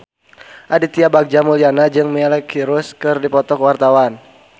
Aditya Bagja Mulyana jeung Miley Cyrus keur dipoto ku wartawan